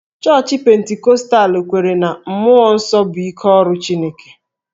Chọọchị Pentikọstal kweere na mmụọ nsọ bụ ike ọrụ Chineke